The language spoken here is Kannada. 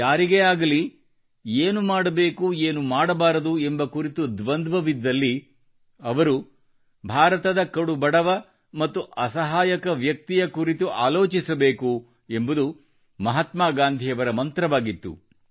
ಯಾರಿಗೇ ಆಗಲಿ ಏನು ಮಾಡಬೇಕು ಏನು ಮಾಡಬಾರದು ಎಂಬ ಕುರಿತು ದ್ವಂದ್ವವಿದ್ದಲ್ಲಿ ಅವರು ಭಾರತದ ಕಡುಬಡವ ಮತ್ತು ಅಸಹಾಯಕ ವ್ಯಕ್ತಿಯ ಕುರಿತು ಆಲೋಚಿಸಬೇಕು ಎಂಬುದು ಮಹಾತ್ಮಾ ಗಾಂಧಿಯವರ ಮಂತ್ರವಾಗಿತ್ತು